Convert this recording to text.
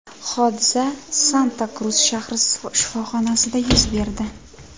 Hodisa Santa-Krus shahri shifoxonasida yuz berdi.